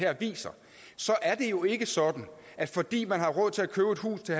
viser så er det jo ikke sådan at fordi man har råd til at købe et hus til